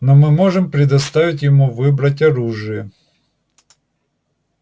но мы можем предоставить ему выбрать оружие